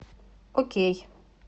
окей